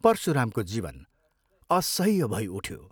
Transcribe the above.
परशुरामको जीवन असह्य भई उठ्यो।